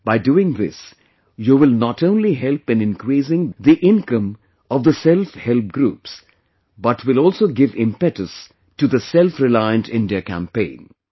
By doing this, you will not only help in increasing the income of the Self Help Groups, but will also give impetus to the 'Selfreliant India Campaign'